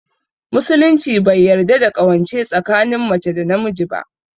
Musulunci bai yarda da ƙawance tsakinin mace da namiji ba